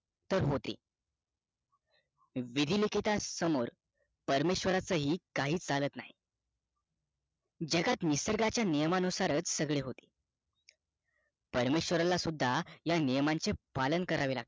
विधी लिखिता समोर परमेश्व्रराच पण काही चालत नाही जगात निसर्गाचा नियम नुसारच सगळे काही होते परमेश्व्रराला सुद्धा या नियमांचे पालन करावे लागते